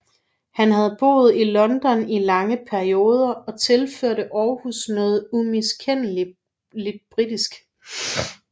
Han havde boet i London i lange perioder og tilførte Århus noget umiskendeligt britisk